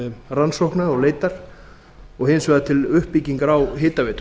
rannsóknar og leitar og hins vegar til uppbyggingar á hitaveitu